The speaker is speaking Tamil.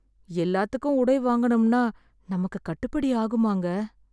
எல்லாத்துக்கும் உடை வாங்கணும்னா நமக்கு கட்டுப்படி ஆகுமாங்க?